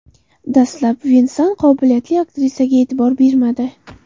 Dastlab Vensan qobiliyatli aktrisaga e’tibor bermadi.